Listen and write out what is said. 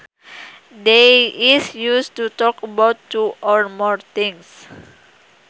They is used to talk about two or more things